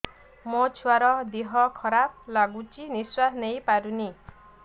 ମୋ ଛୁଆର ଦିହ ଖରାପ ଲାଗୁଚି ନିଃଶ୍ବାସ ନେଇ ପାରୁନି